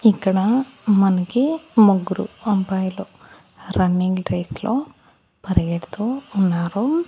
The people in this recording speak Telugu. ఇక్కడ మన్కి ముగ్గురు అబ్బాయిలు రన్నింగ్ రేస్ లో పరిగెడుతూ ఉన్నారు.